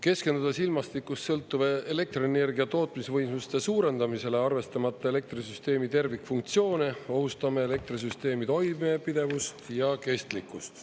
Keskendudes ilmastikust sõltuva elektrienergia tootmisvõimsuste suurendamisele, arvestamata elektrisüsteemi tervikfunktsioone, ohustame elektrisüsteemi toimepidevust ja kestlikkust.